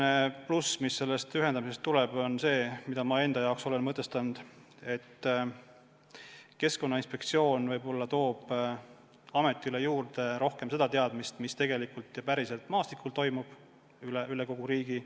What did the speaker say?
Üks pluss, mis sellest ühendamisest tuleb, on see – olen selle enda jaoks nii mõtestanud –, et Keskkonnainspektsioon võib-olla toob ametisse rohkem seda teadmist, mis tegelikult, päriselt maastikul toimub üle kogu riigi.